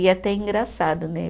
E até engraçado, né?